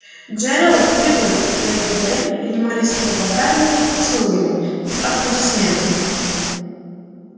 джералд привык что его дары принимались с благодарными поцелуями и аплодисментами